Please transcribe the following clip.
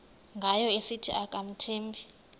ngayo esithi akamthembi